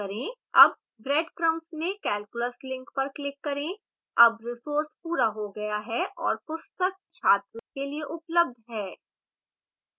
अब breadcrumb में calculus link पर click करें